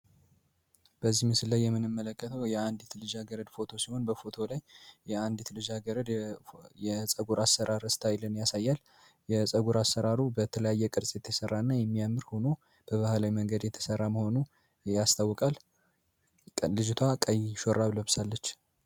በዚህ ምስ ላይ የምንምመለከተው የአንዲት ልጅሀገረድ ፎቶ ሲሆን በፎቶ ላይ የአንዲት ልጃገረድ የጸጉር አሰራር እስታኃይልን ያሳያል። የፀጉር አሰራሩ በተለያየ ቅርጽ የተሠራ እና የሚያምር ሆኖ በባህላይ መንገድ የተሠራ መሆኑ ያስታወቃል። ልጅቷ ቀይሾራብ ለብሳለች።